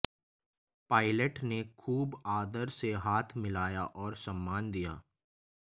pilot ने खूब आदर से हाथ मिलाया और सम्मान दिया